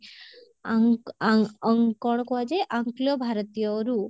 ଆଙ୍କ ଆଙ୍କ ଅଙ୍କ କଣ କୁହାଯାଏ ଆଙ୍କଲୋ ଭାରତୀୟରୁ